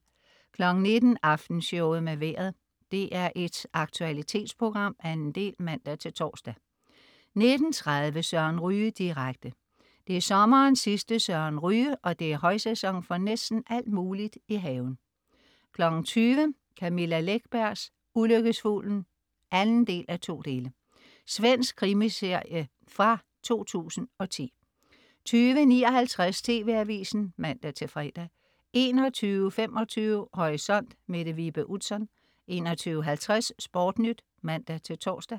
19.00 Aftenshowet med Vejret. DR1s aktualitetsprogram. 2. del (man-tors) 19.30 Søren Ryge direkte. Det er sommerens sidste Søren Ryge, og det er højsæson for næsten alt muligt i haven 20.00 Camilla Läckbergs Ulykkesfuglen 2:2. Svensk krimi-miniserie fra 2010 20.59 TV AVISEN (man-fre) 21.25 Horisont. Mette Vibe Utzon 21.50 SportNyt (man-tors)